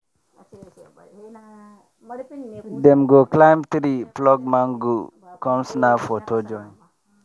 dem go climb tree pluck mango come snap photo join.